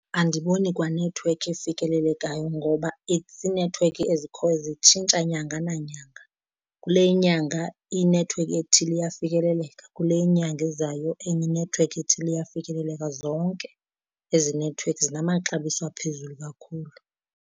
Andiboni kwa nethiwekhi efikelelekayo ngoba iinethiwekhi ezikhoyo zitshintsha nyanga nanyanga, kule inyanga inethiwekhi ethile iyafikeleleka kule inyanga izayo enye inethiwekhi ethile iyafikeleleka. Zonke ezi nethiwekhi zinamaxabiso aphezulu kakhulu.